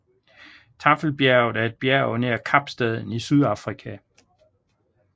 Taffelbjerget er et bjerg nær Kapstaden i Sydafrika